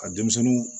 Ka denmisɛnninw